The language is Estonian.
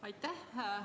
Aitäh!